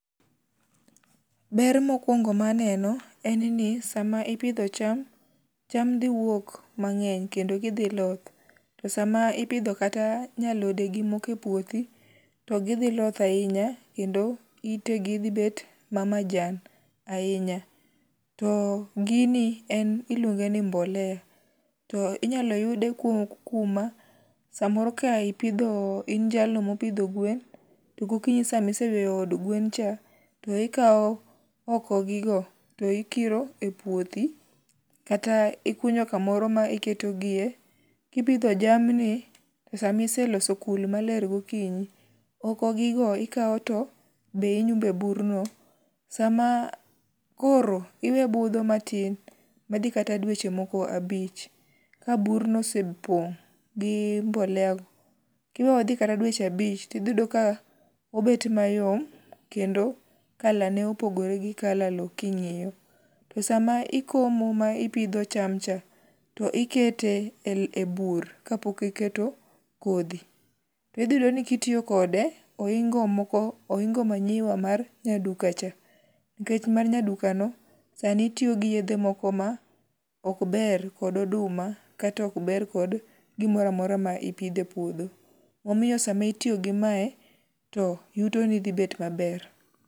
Ber mokwongo maneno en ni sama ipidho cham, cham dhi wuok mang'eny kendo gidhi loth to sama ipidho kata nya alodegi moko e puothi to gidhiloth ahinya kendo itegi dhibed mamajan ahinya to gini en iluonge ni mbolea to inyalo yude kuma samoro ka in jalno mopidho gwen to gokinyi samiseyweyo do gwen cha to ikawo okogigo to ikiro e puothi kata ikunyo kamoro ma iketogie, kipidho jamni to samiseloso kul maler gokinyi, okogigo ikawo to be inyume e burno. Koro iwe budho matin madhi kata dweche moko abich ka burno osepong' gi mboleago kiweyo odhi kata dweche abich tidhityudo ka obet mayom kendo kalane opogore gi kala lo king'iyo to sama ikomo ma ipidho cham cha, to ikete e bur kapok iketo kodhi. To idhiyudo ni kitiyo kode, oingo manyiwa mar nyaduka cha nkech mar nyadukano sani tiyo gi yedhe moko ma okber kod oduma kata okber kod gimoro amora ma ipidho e puodho. Omiyo sama itiyo gi mae to yutoni dhi bet maber.